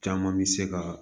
Caman mi se ka